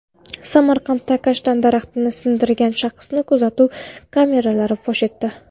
Samarqandda kashtan daraxtini sindirgan shaxsni kuzatuv kameralari fosh etdi.